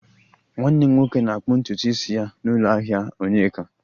Nwanne m nwoke na-akpụ ntutu isi ya na ụlọ ahịa onyeka